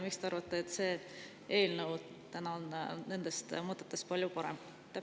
Miks te arvate, et see eelnõu on nendest mõtetest palju parem?